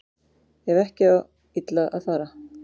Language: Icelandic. Ef ekki á illa að fara